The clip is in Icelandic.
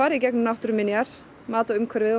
í gegnum náttúruminjar mat á umhverfið og